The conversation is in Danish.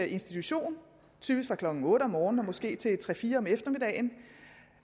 institution typisk fra klokken otte om morgenen og måske til klokken tre fire om eftermiddagen